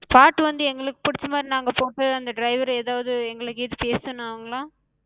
பாட்டு வந்து எங்களுக்குப் புடிச்ச மாரி நாங்க போட்டு அந்த driver ஏதாது எங்கள